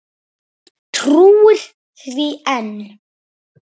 Trúir því enn.